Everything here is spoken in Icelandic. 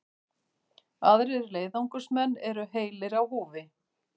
Aðrir leiðangursmenn eru heilir á húfi